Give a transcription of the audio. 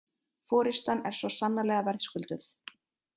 Forystan er svo sannarlega verðskulduð